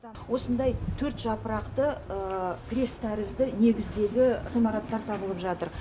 осындай төрт жапырақты крест тәрізді негіздегі ғимараттар табылып жатыр